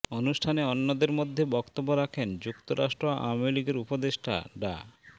অনুষ্ঠানে অন্যদের মধ্যে বক্তব্য রাখেন যুক্তরাষ্ট্র আওয়ামী লীগের উপদেষ্টা ডা